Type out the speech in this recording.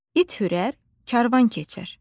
İt hürər, karvan keçər.